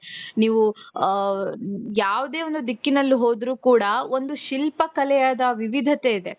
ನೀವು ಅ ಯಾವುದೇ ಒಂದು ದಿಕ್ಕಿನಲ್ಲಿ ಹೋದರು ಕೂಡ ಒಂದು ಶಿಲ್ಪ ಕಲೆಯದ ವಿವಿಧತೆ ಇದೆ .